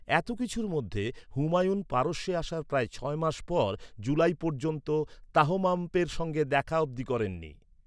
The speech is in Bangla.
এত কিছুর মধ্যে, হুমায়ুন পারস্যে আসার প্রায় ছয় মাস পর জুলাই পর্যন্ত তাহমাস্পের সঙ্গে দেখা অবধি করেননি।